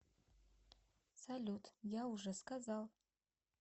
салют я уже сказал